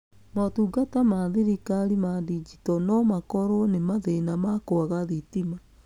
Motungata ma thirikari ma ndinjito no makorwo nĩ mathĩna ma kwaga thitima.